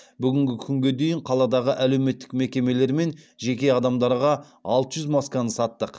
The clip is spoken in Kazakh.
бүгінгі күнге дейін қаладағы әлеуметтік мекемелер мен жеке адамдарға алты жүз масканы саттық